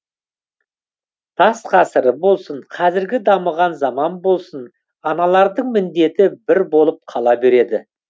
тас ғасыры болсын қазіргі дамыған заман болсын аналардың міндеті бір болып қала береді